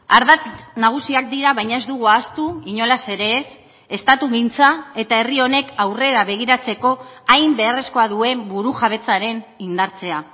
ardatz nagusiak dira baina ez dugu ahaztu inolaz ere ez estatugintza eta herri honek aurrera begiratzeko hain beharrezkoa duen burujabetzaren indartzea